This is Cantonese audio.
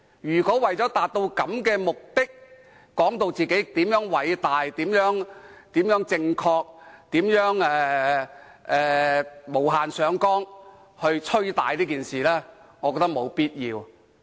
如果為了這種目的，反對派議員便把自己說得如何偉大、如何正確，並無限上綱地"吹大"這件事，我認為沒有必要。